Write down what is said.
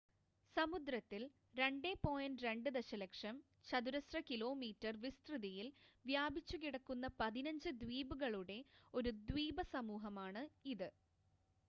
സമുദ്രത്തിൽ 2.2 ദശലക്ഷം ചതുരശ്ര കിലോമീറ്റർ വിസ്തൃതിയിൽ വ്യാപിച്ചു കിടക്കുന്ന 15 ദ്വീപുകളുടെ ഒരു ദ്വീപസമൂഹമാണ് ഇത്